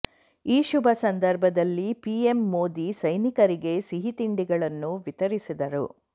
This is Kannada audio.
ಈ ಶುಭ ಸಂದರ್ಭದಲ್ಲಿ ಪಿಎಂ ಮೋದಿ ಸೈನಿಕರಿಗೆ ಸಿಹಿ ತಿಂಡಿಗಳನ್ನು ವಿತರಿಸಿದರು